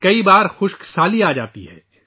کبھی کبھی قحط پڑتا ہے